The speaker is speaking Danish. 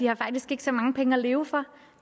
har faktisk ikke så mange penge at leve for